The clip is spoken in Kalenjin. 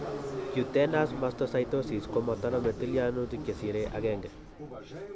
cutaneous mastocytosis komotonome tilyanutik chesire agenge